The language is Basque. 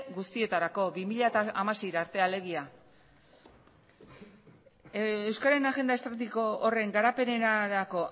guztietarako bi mila hamasei arte alegia euskararen agenda estrategikoa horren garapenerako